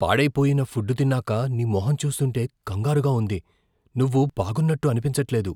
పాడై పోయిన ఫుడ్ తిన్నాక నీ మొహం చూస్తుంటే కంగారుగా ఉంది. నువ్వు బాగున్నట్టు అనిపించట్లేదు.